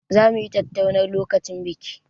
Zamu yi tattaunar lokacin biki.